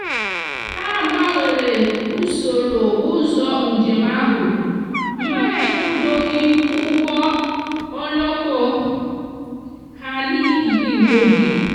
ha gbanwere usoro ụzọ njem ahụ mgbe ha ekwudoghị ụgbọ oloko ha n'ihi igbu oge.